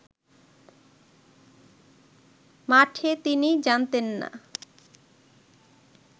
মাঠে তিনি জানতেন না